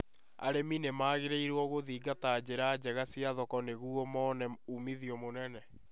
Arĩmi nĩ magĩrĩirũo gũthingata njĩra njega cia thoko nĩguo mone umithio mũnene